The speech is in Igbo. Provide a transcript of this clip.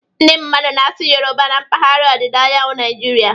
Ndị mmadụ na-asụ Yoruba na mpaghara ọdịda anyanwụ Naijiria